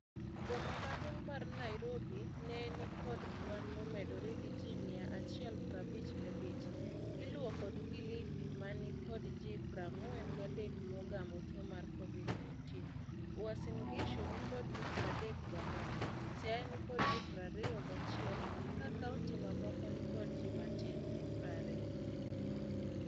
Boma maduong' mar Nairobi ne nikod kwan momedore gi ji mia achiel parbich gabich. Iluo kod Kilifi mani kod ji prang'wen gadek mogamo tuo mar Covid-19. Uasin Gishu nikod ji pradek gang'wen. Siaya nikod ji prario gachiel ka kaunti mamoko nikod ji matin ne pario.